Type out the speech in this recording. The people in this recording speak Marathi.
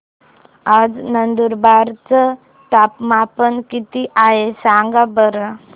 आज नंदुरबार चं तापमान किती आहे सांगा बरं